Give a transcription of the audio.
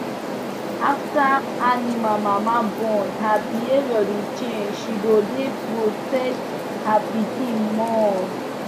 after animal mama born her behavior dey change she go dey protect her pikin more